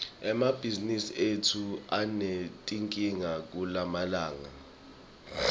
emabhizimisi etfu anetinkinga kulamalanga